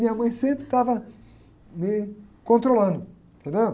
Minha mãe sempre estava me controlando, entendeu?